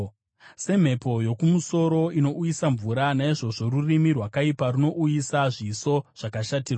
Semhepo yokumusoro inouyisa mvura, naizvozvo rurimi rwakaipa runouyisa zviso zvakashatirwa.